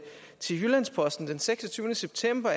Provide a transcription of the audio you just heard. jyllands posten den seksogtyvende september